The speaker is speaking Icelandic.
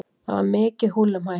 Það var mikið húllumhæ.